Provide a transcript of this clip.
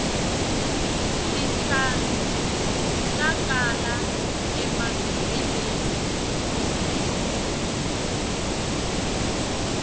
tihlampfi ta kala emavhengeleni